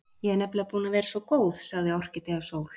Ég er nefnilega búin að vera svo góð, sagði Orkídea Sól.